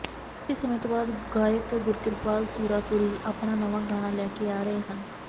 ਕਾਫੀ ਸਮੇਂ ਤੋਂ ਬਾਅਦ ਗਾਇਕ ਗੁਰਕਿਰਪਾਲ ਸੁਰਾਪੁਰੀ ਆਪਣਾ ਨਵਾਂ ਗਾਣਾ ਲੈ ਕੇ ਆ ਰਹੇ ਹਨ